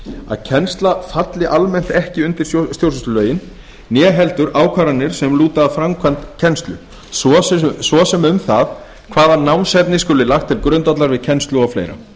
að kennsla falli almennt auki undir stjórnsýslulögin né heldur ákvarðanir sem lúti að framkvæmd kennslu svo sem um það hvaða námsefni skuli lagt til grundvallar við kennslu og fleira